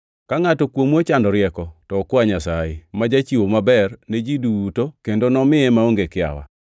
Ka ngʼato kuomu ochando rieko to okwa Nyasaye, ma jachiwo maber ne ji duto kendo nomiye maonge kiawa.